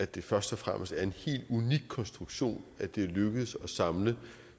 det først og fremmest er en helt unik konstruktion at det er lykkedes at samle